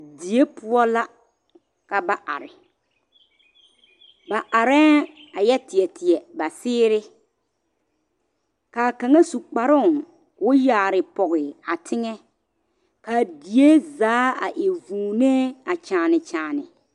Die poɔ la ka ba are ba arɛŋ a yɛ teɛ teɛ ba seere ka kaŋa su kparoo k,o yaare pɔge a teŋɛ k,a die zaa a e vūūnee a kyããne kyããne.